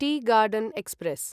T garden express